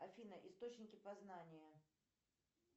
афина источники познания